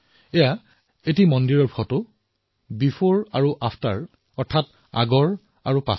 এই ফটো এটা মন্দিৰৰ পূৰ্বৰ আৰু এতিয়াৰ ফটো